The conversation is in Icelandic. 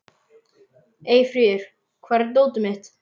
Eyfríður, hvar er dótið mitt?